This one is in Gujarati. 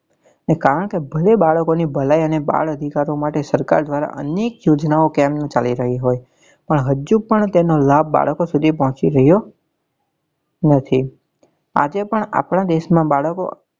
ને કારણ કે ભલે બાળકો ની ભલાઈ અને બાળ અધિકારો માટે સરકાર દ્વારા અનેક યોજનાઓ કેમ નાં ચાલી રહી હોય પણ હજુ પણ તેનો લાભ બાળકો સુધી પહોચી રહ્યો નથી આજે પણ આપડા દેશ નાં બાળકો